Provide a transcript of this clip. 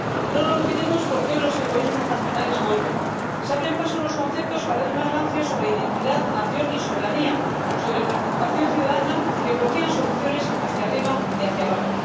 No lo olvidemos, porque hoy los egoísmos nacionales vuelven, se abren paso en los conceptos cada vez más rancios sobre identidad, nación y soberanía, sobre participación ciudadana que bloquean soluciones hacia arriba y hacia abajo.